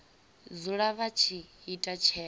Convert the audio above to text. dzula vha tshi ita tsheo